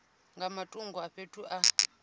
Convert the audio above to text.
nga matungo a fhethu a